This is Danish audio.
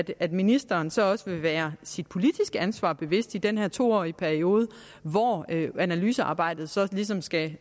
at ministeren så også vil være sit politiske ansvar bevidst i den her to årige periode hvor analysearbejdet så ligesom skal